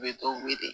U bɛ dɔw wele